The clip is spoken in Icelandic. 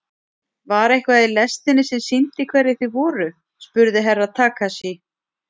Var eitthvað í lestinni sem sýndi hverjir þið voruð spurði Herra Takashi.